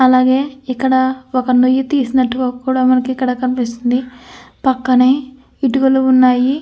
అలాగే ఇక్కడ ఒక్క నుయ్యి తీసుకున్నట్టుగా కూడా మనకిక్కడ కనిపిస్తుంది. పక్కనే ఇటుకలు ఉన్నాయి.